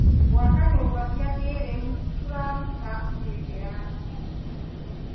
Gwaka nyũmba cia kĩrĩu kũraruta mĩeke ya ũtungi.